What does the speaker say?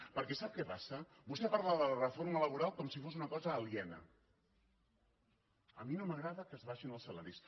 perquè sap què passa vostè parla de la reforma laboral com si fos una cosa aliena a mi no m’agrada que s’abaixin els salaris